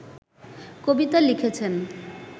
কবিতা লিখেছেন